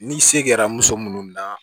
N'i se kɛra muso minnu na